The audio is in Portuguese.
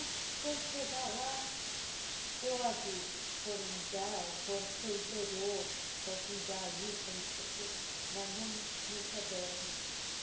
Ah, quando chegar lá, eu aviso que foram mudar, foram para o interior, para Jundiaí, para não sei o quê, mas não nunca deram.